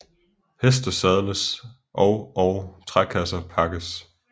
Heste sadles og og trækasser pakkes